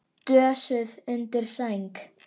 Dösuð undir sæng.